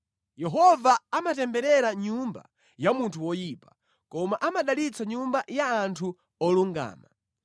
Yehova amatemberera nyumba ya munthu woyipa, koma amadalitsa nyumba ya anthu olungama.